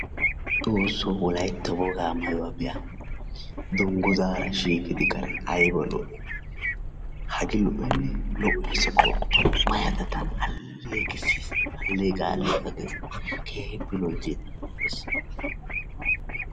Xoossoo wolaytta wogaa maayuwa be"a dungguzzaara shiiqidi qa ayba lo"ii hagee lo"oyi lo"eesi gooppa maayada tana alleeqisses alleeqa alleeqa ges keehippe loyttiina lo"es.